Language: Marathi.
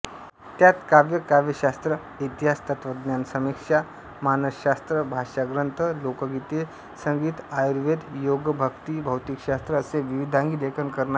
त्यात काव्य काव्यशास्त्रइतिहासतत्वज्ञानसमीक्षा मानसशास्त्रभाष्यग्रंथ लोकगीते संगीतआयुर्वेदयोगभक्तीभौतिकशास्त्र असे विविधांगी लेखऩ करणारे